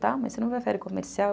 Tá, mas você não prefere comercial?